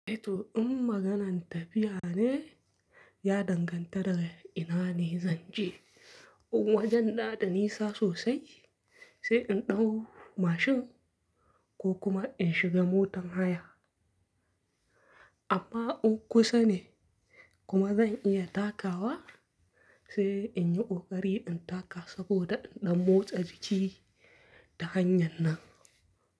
Eh to in maganan tafiya ne, ya danganta daga ina ne zan je. In wajen na da nisa sosai, sai in ɗau mashin ko kuma in shiga motan haya. Amma in kusa ne In kuma zan iya takawa, sai in yi ƙoƙari in taka saboda in ɗan motsa jiki ta hanyar nan.